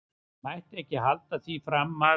Mætti ekki halda því fram að.